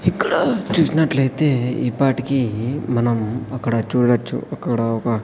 ఇక్కడ చూసినట్లయితే ఈపాటికీ మనం అక్కడ చూడచ్చు అక్కడ ఒక--